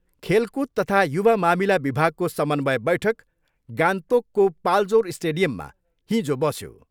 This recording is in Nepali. खेलकुद तथा युवा मामिला विभागको समन्वय बैठक गान्तोकको पाल्जोर स्टेडियममा हिजो बसियो।